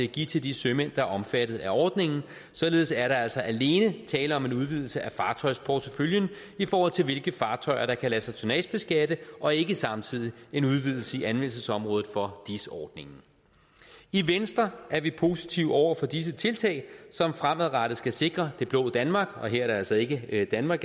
give til de sømænd der er omfattet af ordningen således er der altså alene tale om en udvidelse af fartøjsporteføljen i forhold til hvilke fartøjer der kan lade sig tonnagebeskatte og ikke samtidig en udvidelse i anvendelsesområdet for dis ordningen i venstre er vi positive over for disse tiltag som fremadrettet skal sikre det blå danmark og her er det altså ikke danmark